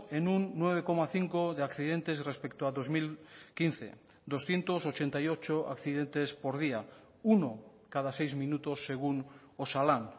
en un nueve coma cinco de accidentes respecto a dos mil quince doscientos ochenta y ocho accidentes por día uno cada seis minutos según osalan